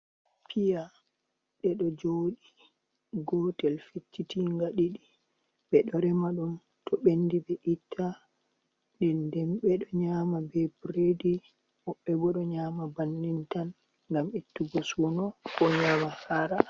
Piya ɗe ɗo jooɗi, gotel feccitinga ɗiɗi ɓe ɗo rema ɗum to ɓendi ɓe itta, nde den ɓe ɗo nyama be biredi woɓɓe bo ɗo nyama bannin tan ngam ettugo suno ko nyama haara.